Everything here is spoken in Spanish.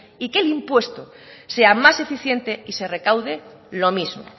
y que el impuesto sea más eficiente y se recaude lo mismo